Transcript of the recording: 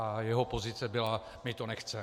A jeho pozice byla: my to nechceme.